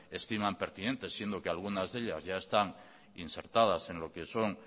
estiman pertinentes siendo que algunas de ellas ya están insertadas en lo que son